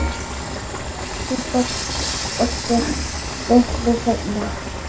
Bjössi birtist litlu seinna.